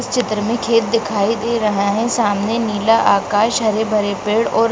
इस चित्र मे खेत दिखाई दे रहा है सामने नीला आकाश हरे-भरे पेड़ और --